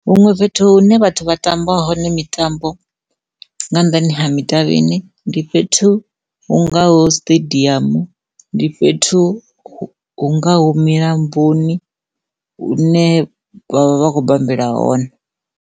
Huṅwe fhethu hune vhathu vha tamba hone mitambo nga nnḓani ha midavhini ndi fhethu hungaho stadium, ndi fhethu hungaho milamboni hune vha vha vha khou bambela hone.